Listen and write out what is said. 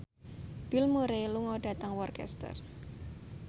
Bill Murray lunga dhateng Worcester